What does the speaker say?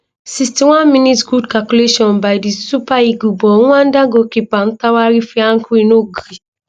61mins good calculation by di super eagles but rwanda goalkeeper ntwari fiacre no gree